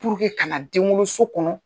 Puruke ka na denwoloso kɔnɔ.